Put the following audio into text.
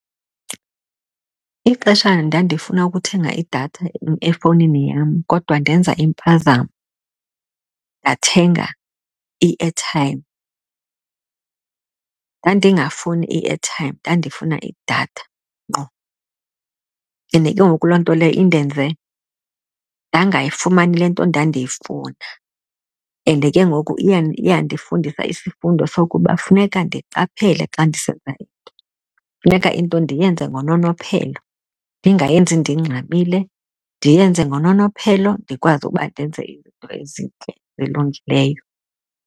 Ixesha ndandifuna ukuthenga idatha efowunini yam kodwa ndenza impazamo ndathenga i-airtime, ndandingafuni i-airtime ndandifuna idatha ngqo, and ke ngoku loo nto leyo indenze ndangayifumani le nto ndandiyifuna. And ke ngoku iye yandifundisa isifundo sokuba funeka ndiqaphele xa ndisenza into, funeka into ndiyenze ngononophelo. Ndingayenzi ndingxamile, ndiyenze ngononophelo ndikwazi uba ndenze izinto ezintle elungileyo.